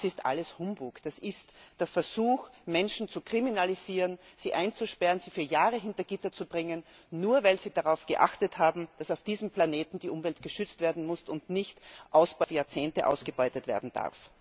Das ist alles Humbug, das ist der Versuch, Menschen zu kriminalisieren, sie einzusperren, sie für Jahre hinter Gitter zu bringen, nur weil sie darauf geachtet haben, dass auf diesem Planeten die Umwelt geschützt werden muss und nicht auf Jahrzehnte ausgebeutet werden darf.